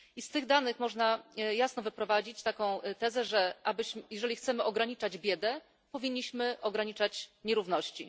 I z tych danych można jasno wyprowadzić taką tezę, że jeżeli chcemy ograniczać biedę, powinniśmy ograniczać nierówności.